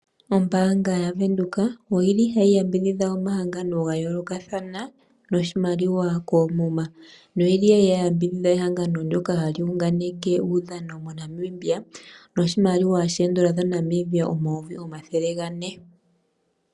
Ombaanga yaWindhoek oyi li ha yi yambidhidha omahangano ga yoolokathana noshimaliwa koomuma, noyi li ya li ya yambidhidha ehangano ndjoka ha li hunganeke uudhano moNamibia, noshimaliwa N$400 000.